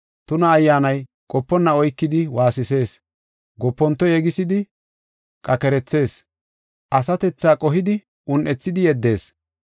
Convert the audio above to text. Tuna ayyaanay qoponna oykidi waasisees; goponto yegisidi qakerethees, asatethaa qohidi un7ethidi yeddees.